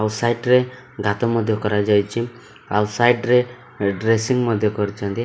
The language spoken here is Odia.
ଆଉ ସାଇଟ ରେ ଗାତ ମଧ୍ୟ କରାଯାଇଚି ଆଉ ସାଇଟ ରେ ଡ୍ରେସିଂଙ୍ଗ ମଧ୍ୟ କରିଚନ୍ତି।